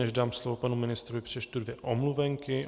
Než dám slovo panu ministrovi, přečtu dvě omluvenky.